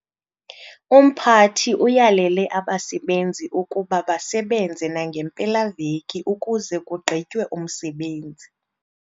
Umphathi uyalele abasebenzi ukuba basebenze nangempela-veki ukuze kugqitywe umsebenzi.